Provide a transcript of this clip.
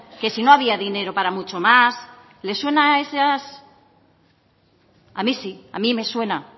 que si no había dinero para mucho más le suenan esas a mí sí a mí me suena